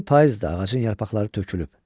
İndi payızdır, ağacın yarpaqları tökülüb.